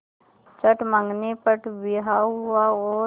चट मँगनी पट ब्याह हुआ और